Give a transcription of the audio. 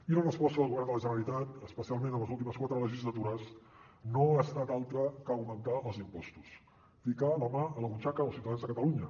i la resposta del govern de la generalitat especialment a les últimes quatre legislatures no ha estat altra que augmentar els impostos ficar la mà a la butxaca dels ciutadans de catalunya